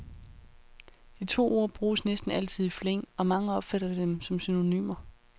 De to ord bruges næsten altid i flæng, og mange opfatter dem som synonymer.